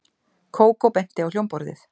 Kókó benti á hljómborðið.